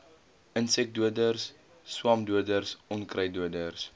insekdoders swamdoders onkruiddoders